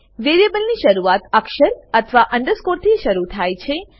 વેરીએબલની શરુઆત અક્ષર અથવા અન્ડરસ્કૉર થી શરુ થાય છે